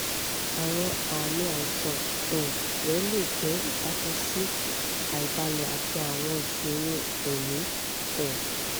awọn aami aisan um rẹ le jẹ ibatan si aibalẹ ati awọn iṣoro ẹmi um